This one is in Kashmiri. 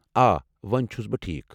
آ، ووٚنۍ چھُس بہٕ ٹھیٖکھ ۔